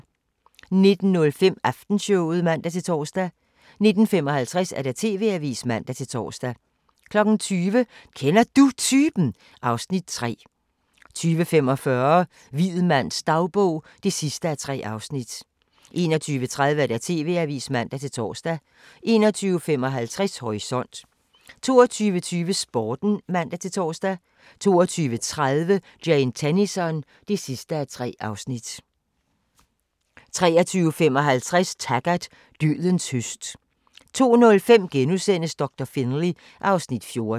19:05: Aftenshowet (man-tor) 19:55: TV-avisen (man-tor) 20:00: Kender Du Typen? (Afs. 3) 20:45: Hvid mands dagbog (3:3) 21:30: TV-avisen (man-tor) 21:55: Horisont 22:20: Sporten (man-tor) 22:30: Jane Tennison (3:3) 23:55: Taggart: Dødens høst 02:05: Doktor Finlay (Afs. 14)*